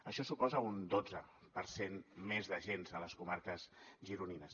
això suposa un dotze per cent més d’agents a les comarques gironines